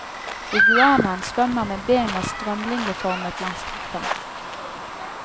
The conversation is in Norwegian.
Iguanaen svømmer med bena strømlinjeformet langs kroppen.